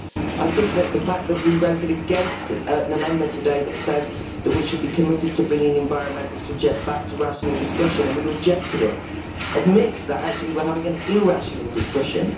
I think that the fact that we voted against an amendment today that said that we should be committed to bringing environmental subject back to rational discussion, and we rejected it, admits that actually we're having an irrational discussion.